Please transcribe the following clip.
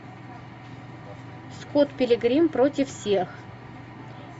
скотт пилигрим против всех